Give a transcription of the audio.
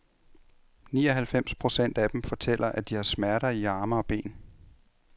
Ni og halvfems procent af dem fortæller, at de har smerter i arme og ben.